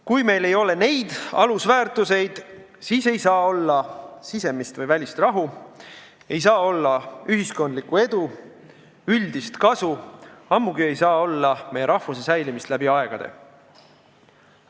Kui meil ei ole neid alusväärtuseid, siis ei saa olla sisemist või välist rahu, ei saa olla ühiskondlikku edu ega üldist kasu, ammugi ei saa olla meie rahvuse säilimist läbi aegade.